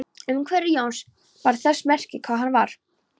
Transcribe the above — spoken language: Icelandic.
Umhverfi Jóns bar þess merki hvar hann vann.